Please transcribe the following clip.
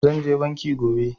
Zan je banki gobe